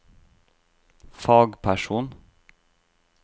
fagperson